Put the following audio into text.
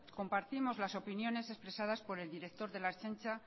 compartimos las opiniones expresadas por el director de la ertzaintza